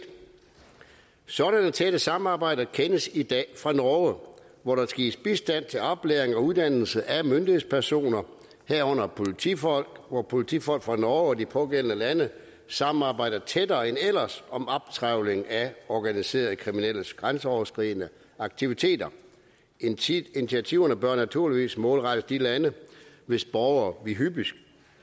sådanne tætte samarbejder kendes i dag fra norge hvor der gives bistand til oplæring og uddannelse af myndighedspersoner herunder politifolk hvor politifolk fra norge og de pågældende lande samarbejder tættere end ellers om optrævling af organiserede kriminelles grænseoverskridende aktiviteter initiativerne bør naturligvis målrettes de lande hvis borgere vi hyppigst